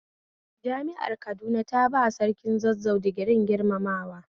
Jami'ar Kaduna ta baiwa Sarkin Zazzau digirin girmamawa